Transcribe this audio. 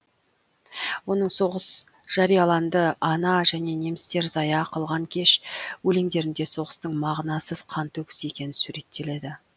оның соғыс жарияланды ана және немістер зая кылған кеш өлеңдерінде соғыстың мағынасыз қантөгіс екені суреттеледі